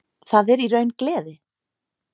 Það er í raun gleði.